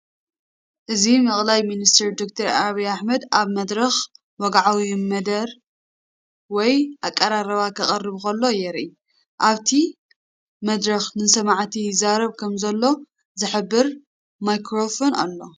እዚ መቅላይ ሚኒስትር ደክተር አብይ አሕመድ ኣብ መድረኽ ወግዓዊ መደረ ወይ ኣቀራርባ ከቕርብ ከሎ የርኢ። ኣብቲ መድረኽ ንሰማዕቲ ይዛረብ ከም ዘሎ ዝሕብር ማይክሮፎን ኣሎ።